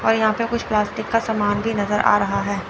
और यहा पे कुछ प्लास्टिक का समान भी नजर आ रहा है।